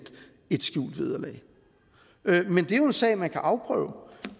skjult vederlag men det er jo en sag man kan afprøve